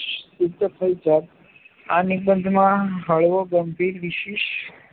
સિદ્ધ થઈ જાત આ નિબંધમાં હળવો ગંભીર વિષય